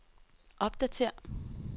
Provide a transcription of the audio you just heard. opdatér